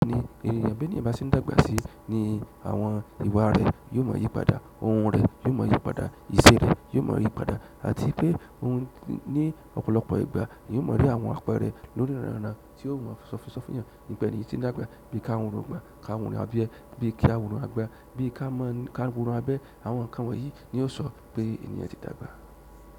Bi ẹni, bi ẹniyan bá ṣe ń dàgbà sí ni àwọn ìwà rẹ yóò mọ yí padà, ohùn rẹ yóò mọ yí padà, ìṣe rẹ yóò mọ yí padà àti pé òun ní ọ̀pọ̀lọpọ̀ ìgbà yóò mọ ri àwọn apẹ́rẹ lórí ranran tí ó mọ́n ṣọfiṣọfín yàn nípe ẹni yi tí ń dàgbà bí i ká hun irungbon, ká hun irun abiya, bí i kí a hun òrùn àgbà, bí i ká mọ, ká hun irun abẹ́ àwọn nǹkan wọ̀nyí ni yóò sọ pé ènìyàn ti dàgbà.